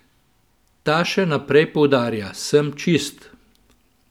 Ta še naprej poudarja: "Sem čist.